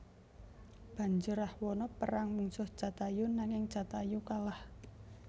Banjur Rahwana perang mungsuh Jatayu nanging Jatayu kalah